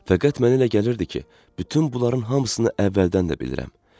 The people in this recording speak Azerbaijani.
Fəqət mənə elə gəlirdi ki, bütün bunların hamısını əvvəldən də bilirəm.